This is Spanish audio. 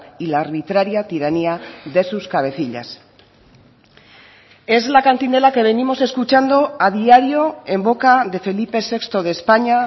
y la arbitraria tiranía de sus cabecillas es la cantinela que venimos escuchando a diario en boca de felipe sexto de españa